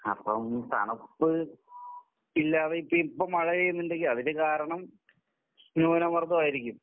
അപ്പം തണുപ്പ് ഇല്ലാതെ ഇപ്പം മഴ പെയ്യുന്നുണ്ടെങ്കിൽ അതിനു കാരണം ന്യൂനമർദ്ദമായിരിക്കും.